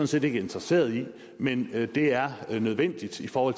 set ikke interesseret i men det er nødvendigt for